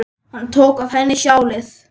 Hann tók af henni sjalið.